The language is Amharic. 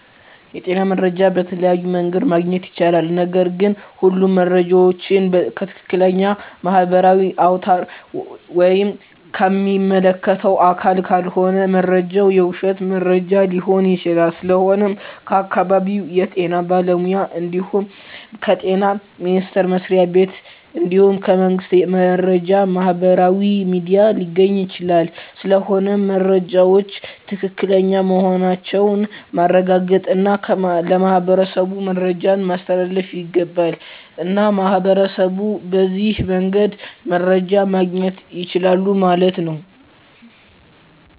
የጤና መረጃ በተለያዮ መንገድ ማግኘት ይቻላል ነገርግ ሁሉም መረጃ ዎችን ከትክለኛ ማህበራዊ አውታር ወይም ከሚመለከተው አካል ካልሆነ መረጃው የውሽት መረጃ ሊሆን ይችላል ስለሆነም ከአካባቢው የጤና ባለሙያ እንድሁም ከጤና ሚኒስተር መስሪያ ቤት እንድሁም ከመንግስት የመረጃ ማህበራዊ ሚዲያ ሊገኝ ይቻላል ስለሆነም መረጃወች ትክክለኛ መሆናቸውን ማረጋገጥ እና ለማህበረሠቡ መረጃን ማስተላለፍ ይገባል። እና ሚህበረሸቡ በዚህ መንገድ መረጃ ማገኘት ይችላሉ ማለት ነው